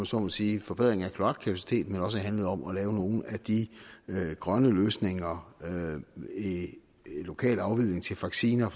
så må sige forbedring af kloakkapaciteten men også handlede om at lave nogle af de grønne løsninger lokal afledning til faskiner